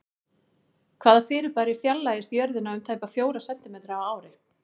Hvaða fyrirbæri fjarlægist Jörðina um tæplega fjóra sentímetra á ári?